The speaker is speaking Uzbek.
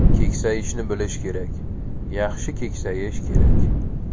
Keksayishni bilish kerak, yaxshi keksayish kerak.